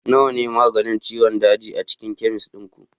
nawa ne maganin ciwon daji a cikin chemist ɗin ku